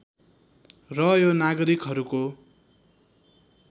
र यो नागरिकहरूको